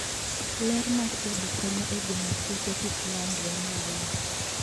Ler mar udi konyo e geng'o kute kik landre ne winy.